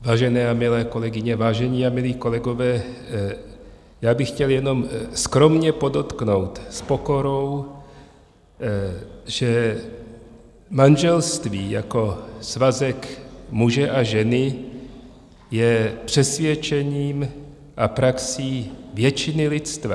Vážené a milé kolegyně, vážení a milí kolegové, já bych chtěl jenom skromně podotknout s pokorou, že manželství jako svazek muže a ženy je přesvědčením a praxí většiny lidstva.